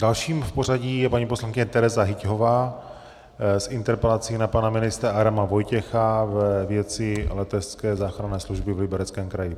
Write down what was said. Dalším v pořadí je paní poslankyně Tereza Hyťhová s interpelací na pana ministra Adama Vojtěcha ve věci letecké záchranné služby v Libereckém kraji.